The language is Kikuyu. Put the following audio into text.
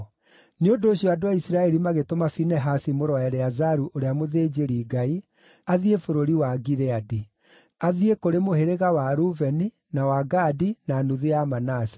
Nĩ ũndũ ũcio andũ a Isiraeli magĩtũma Finehasi mũrũ wa Eleazaru ũrĩa mũthĩnjĩri-Ngai athiĩ bũrũri wa Gileadi; athiĩ kũrĩ mũhĩrĩga wa Rubeni, na wa Gadi na nuthu ya Manase.